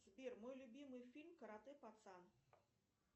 сбер мой любимый фильм карате пацан